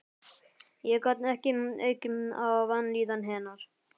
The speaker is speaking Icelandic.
Ég gat ekki aukið á vanlíðan hennar.